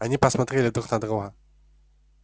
они посмотрели друг на друга